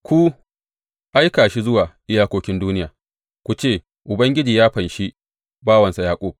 Ku aika shi zuwa iyakokin duniya; ku ce, Ubangiji ya fanshi bawansa Yaƙub.